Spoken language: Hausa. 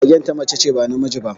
Magen ta mace ce, ba namiji ba